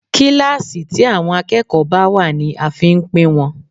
Kíláàsì tí àwọn akẹ́kọ̀ọ́ bá wà ní a fi ń pín wọn.